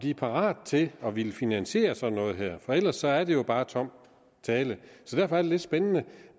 er parate til at ville finansiere sådan noget her for ellers er det jo bare tom tale så derfor er det lidt spændende